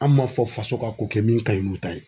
An m'a fɔ faso ka ko kɛ min ka ɲi n'o ta ye.